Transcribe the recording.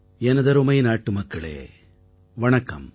எனதருமை நாட்டுமக்களே வணக்கம்